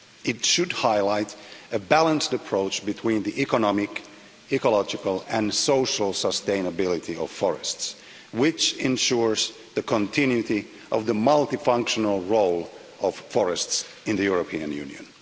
It should highlight a balanced approach between the economic, ecological and social sustainability of forests to ensure the continuity of the multifunctional role of forests in the European Union.